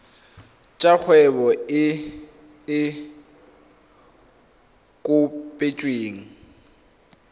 tsa kgwebo e e kopetsweng